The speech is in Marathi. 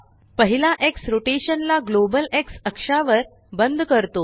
पहिला एक्स रोटेशन ला ग्लोबल एक्स अक्षावर बंद करतो